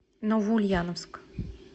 новоульяновск